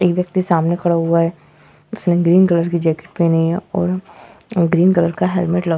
एक व्यक्ति सामने खड़ा हुआ है जिसने ग्रीन कलर की जैकेट पेहनी है और ग्रीन कलर का हेलमेट लगा --